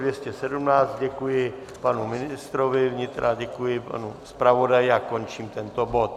Děkuji panu ministru vnitra, děkuji panu zpravodaji a končím tento bod.